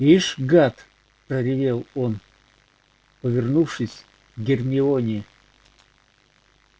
ишь гад проревел он повернувшись к гермионе